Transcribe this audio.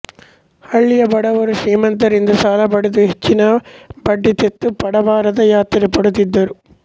ಹಳ್ಳಿಯ ಬಡವರು ಶ್ರೀಮಂತರಿಂದ ಸಾಲ ಪಡೆದು ಹೆಚ್ಚಿನ ಬಡ್ಡಿ ತೆತ್ತು ಪಡಬಾರದ ಯಾತನೆ ಪಡುತ್ತಿದ್ದರು